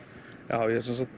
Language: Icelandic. já